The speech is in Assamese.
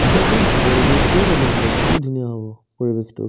তেতিয়া একদম পৰিৱেশটোয়ে বেলেগ হ'ব কি ধুনীয়া হ'ব পৰিৱেশটো